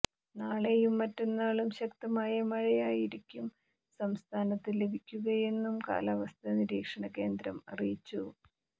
നാളെയും മറ്റന്നാളും ശക്തമായ മഴയായിരിക്കും സംസ്ഥാനത്ത് ലഭിക്കുകയെന്നും കാലാവസ്ഥ നിരീക്ഷണ കേന്ദ്രം അറിയിച്ചു